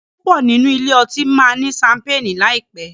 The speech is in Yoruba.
púpọ nínú ilé otí ma ní Ṣampeeni láìpé.